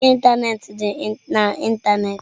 Ozi ịntanetị dị na ịntanetị.